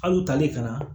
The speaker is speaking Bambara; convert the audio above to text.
Al'u tali kana